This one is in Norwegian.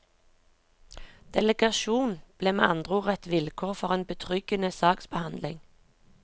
Delegasjon ble med andre ord et vilkår for en betryggende saksbehandling.